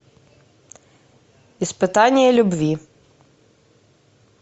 испытание любви